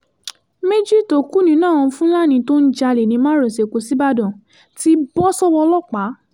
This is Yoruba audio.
méjì tó kù nínú àwọn fúlàní tó ń jalè ní márosẹ̀ ẹ̀kọ́ ṣíbàdàn ti bọ́ sọ́wọ́ ọlọ́pàá